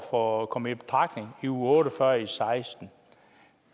for at komme i betragtning i uge otte og fyrre i og seksten